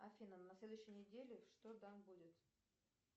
афина на следующей неделе что там будет